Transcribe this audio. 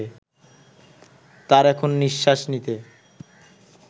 তাঁর এখন নিঃশ্বাস নিতে